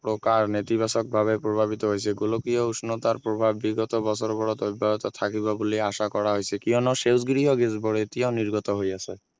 গকা নেতিবাচক ভাৱে প্ৰভাৱিত হৈছে গোলকীয় উষ্ণতাৰ প্ৰভাৱ বিগত বছৰত অব্যাহত থাকিব বুলি আশা কৰা হৈছে কিয়নো সেউজগৃহ গেছ বোৰ এতিয়া নিৰ্গত হৈ আছে